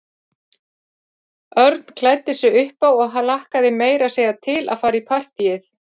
Örn klæddi sig upp á og hlakkaði meira að segja til að fara í partíið.